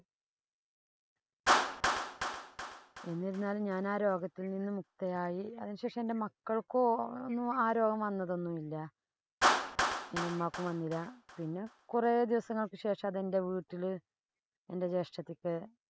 എന്നിരുന്നാലും ഞാന്‍ ആ രോഗത്തില്‍ നിന്ന് മുക്തയായി. അതിനു ശേഷം എന്‍റെ മക്കള്‍ക്കോ, ഒന്നും, ആ രോഗം വന്നതൊന്നുമില്ല. എന്‍റെ ഉമ്മാക്കും വന്നില്ല. പിന്നെ കൊറേദിവസങ്ങള്‍ക്ക് ശേഷം അതെന്‍റെ വീട്ടില് എന്‍റെ ജ്യേഷ്ടത്തിക്ക്